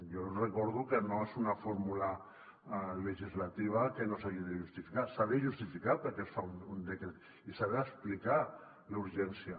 jo els recordo que no és una fórmula legislativa que no s’hagi de justificar s’ha de justificar per què es fa un decret i se n’ha d’explicar la urgència